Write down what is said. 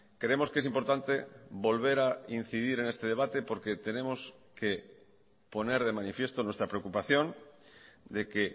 creemos que es importante volver a incidir en este debate porque tenemos que poner de manifiesto nuestra preocupación de que